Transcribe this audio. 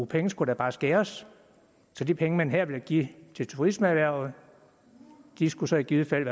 penge skulle der bare skæres så de penge man her vil give til turismeerhvervet skulle så i givet fald